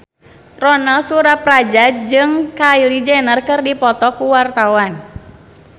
Ronal Surapradja jeung Kylie Jenner keur dipoto ku wartawan